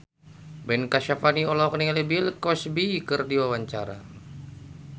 Ben Kasyafani olohok ningali Bill Cosby keur diwawancara